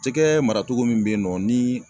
jɛgɛ maratogo min be yen nɔ ni